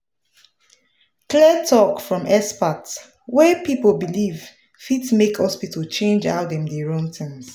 clear talk from expert wey people believe fit make hospital change how dem dey run things